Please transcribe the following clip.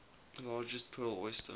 largest pearl oyster